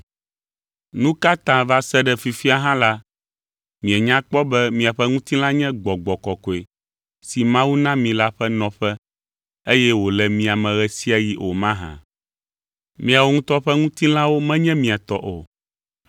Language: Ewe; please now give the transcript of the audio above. Nu ka ta va se ɖe fifia hã la, mienya kpɔ be miaƒe ŋutilã nye Gbɔgbɔ Kɔkɔe si Mawu na mi la ƒe nɔƒe eye wòle mia me ɣe sia ɣi o mahã? Miawo ŋutɔ ƒe ŋutilãwo menye mia tɔ o,